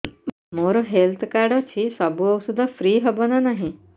ମୋର health card ଅଛି ସବୁ ଔଷଧ ଫ୍ରି ହବ ନା ନାହିଁ